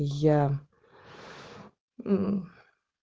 я